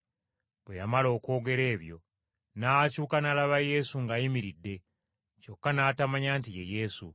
Bwe yamala okwogera ebyo, n’akyuka n’alaba Yesu ng’ayimiridde, kyokka n’atamanya nti ye Yesu.